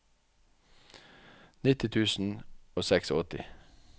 nitti tusen og åttiseks